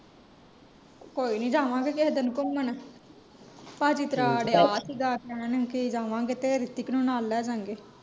ਕੋਇਨੀ ਜਾਵਾਂਗੇ ਕਿਹੇ ਦਿਨ ਘੁੰਮਨ ਭਾਜੀ ਤੇਰਾ ਆੜਿਆ ਸੀਗਾ ਕਹਿਣ ਕਿ ਜਾਵਾਂਗੇ, ਤੇ ਰਿਤਿਕ ਨੂੰ ਨਾਲ ਲੈਜਾਂਗੇ।